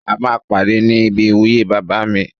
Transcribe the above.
A máa pàdé ní ibi ìwúyè bàbá mi